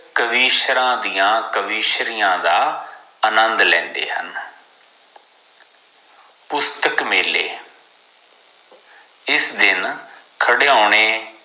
ਕਵੀਸ਼ਰਾਂ ਦੀ ਕਵੀਸ਼ਰੀਆਂ ਦਾ ਆਨੰਦ ਲੈਂਦੇ ਹਨ ਪੁਸਤਕ ਮੇਲੇ ਇਸ ਦਿਨ ਖਿਡੌਣੇ